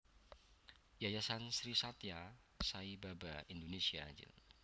Yayasan Sri Sathya Sai Baba Indonésia Jl